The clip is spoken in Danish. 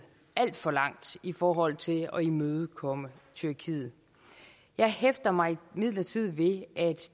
alt for langt i forhold til at imødekomme tyrkiet jeg hæfter mig imidlertid ved at